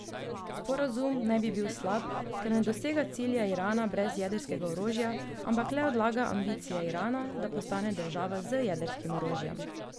Sporazum naj bi bil slab, ker ne dosega cilja Irana brez jedrskega orožja, ampak le odlaga ambicije Irana, da postane država z jedrskim orožjem.